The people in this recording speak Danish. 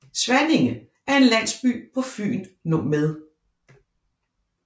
Svanninge er en landsby på Fyn med